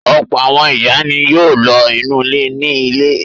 Ọ̀pọ̀ àwọn ìyá ni yóò lo ìnulẹ̀ ní ilé.